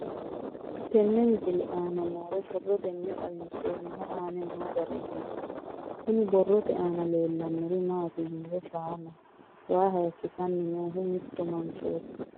Tenne misile aana noore borroteni xawiseemohu aane noo gariniiti. Kunni borrote aana leelanori maati yiniro shaanaho waa hayikisanni noohu mitto manchoti.